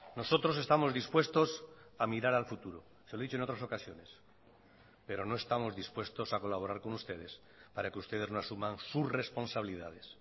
nosotros estamos dispuestos a mirar al futuro se lo he dicho en otras ocasiones pero no estamos dispuestos a colaborar con ustedes para que ustedes no asuman sus responsabilidades